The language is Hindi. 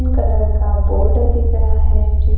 कलर का बोर्ड दिखा रहा है जिस--